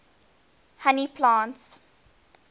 honey plants